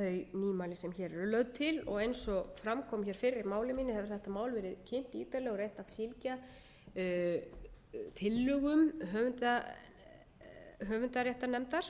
eru lögð til og eins og fram kom hér fyrr í máli mínu hafa þessi mál verið kynnt ítarlega og reynt að fylgja tillögum höfundaréttarnefndar